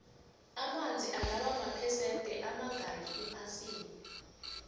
amanzi angaba maphesende amangakhi ephasini